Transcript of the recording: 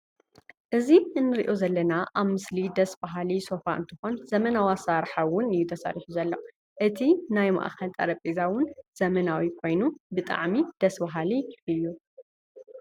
እዚ እንሪኦ ዘለና ኣብ ምስሊ ደስ በሃሊ ሶፋ እንትኮን ዘመናዊ ኣሰራርሓ እውን እዩ ተሰሪሑ ዘሎ። እቲ ናይ ማእከ ጠረጰዛ እውን ዘመናዊ ኮይኑ ብጣዕሚ ደስ በሃሊ እዩ።